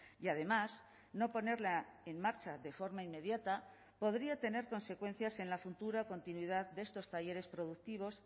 y además no ponerla en marcha de forma inmediata podría tener consecuencias en la futura continuidad de estos talleres productivos